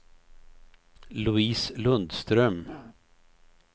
Louise Lundström